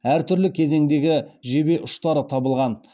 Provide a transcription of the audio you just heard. әртүрлі кезеңдегі жебе ұштары табылған